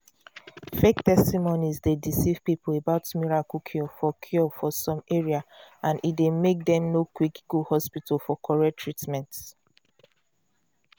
fake testimonies dey deceive people about miracle cure for cure for some area and e dey make dem no quick go hospital for correct treatment.